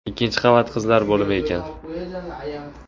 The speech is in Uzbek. Ikkinchi qavat qizlar bo‘limi ekan.